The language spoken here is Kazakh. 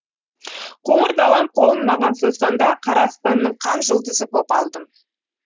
қоңыр далам қолын маған созғанда қара аспанның қан жұлдызы боп алдым